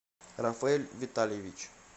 рафаэль витальевич